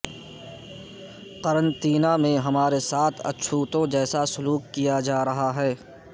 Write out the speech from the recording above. قرنطینہ میں ہمارے ساتھ اچھوتوں جیسا سلوک کیا جا رہا ہے